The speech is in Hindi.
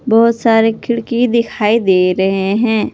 बहोत सारे खिड़की दिखाई दे रहे हैं।